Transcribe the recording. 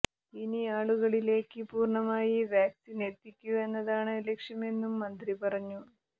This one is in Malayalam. ഇനി ആളുകളിലേക്ക് പൂര്ണമായി വാക്സിന് എത്തിക്കുക എന്നതാണ് ലക്ഷ്യമെന്നും മന്ത്രി പറഞ്ഞു